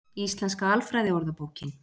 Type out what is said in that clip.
Íslenska alfræði orðabókin.